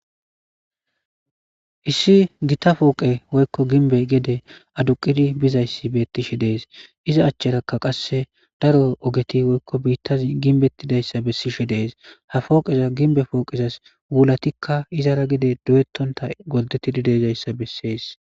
issi gita pooqe woykko ginbey gede aduqidi bizayssi bettishe dees iza achcharakka qasse daro ogeti woykko biitta ginbettidayssa bessishe dees ha fooqeza ginbe pooqezas wulatikka izara gide doyettonta gordettidi de'izayssa bessees